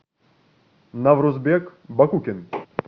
наврузбек бакукин